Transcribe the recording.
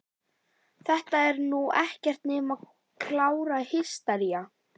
Þetta er nú ekkert nema klára hystería!